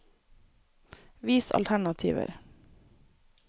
Vis alternativer